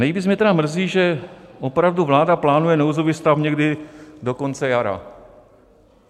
Nejvíc mě tedy mrzí, že opravdu vláda plánuje nouzový stav někdy do konce jara.